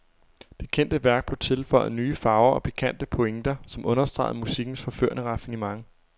Det kendte værk blev tilføjet nye farver og pikante pointer, som understregede musikkens forførende raffinement.